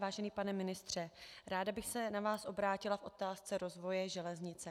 Vážený pane ministře, ráda bych se na vás obrátila v otázce rozvoje železnice.